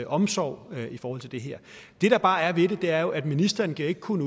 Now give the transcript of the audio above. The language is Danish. omsorg i forhold til det her det der bare er ved det er jo at ministeren ikke kun